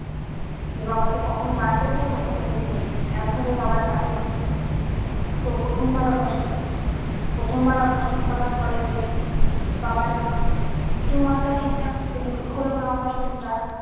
যে বাবাকে কখন বার করবে কখন দেখবে একভাবে বাবার পশে তো প্রথমবার operation প্রথম বার operation করার পড়েতে বাবার tumor টা ঠিকঠাক উম হলোনা operation টা